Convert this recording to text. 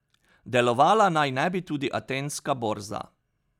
Delovala naj ne bi tudi atenska borza.